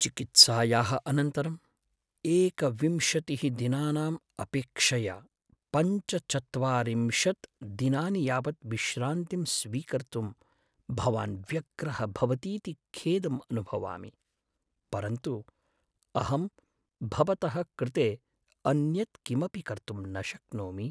चिकित्सायाः अनन्तरं एकविंशतिः दिनानाम् अपेक्षया पञ्चचत्वारिंशत् दिनानि यावत् विश्रान्तिं स्वीकर्तुं भवान् व्यग्रः भवतीति खेदम् अनुभवामि, परन्तु अहं भवतः कृते अन्यत् किमपि कर्तुं न शक्नोमि।